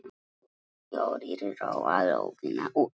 Hinir fjórir róa lóðina út.